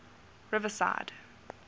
riverside